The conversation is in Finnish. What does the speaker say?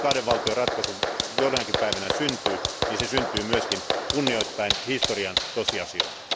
Jos kahden valtion ratkaisu jonakin päivänä syntyy, se syntyy myös kunnioittaen historian tosiasioita.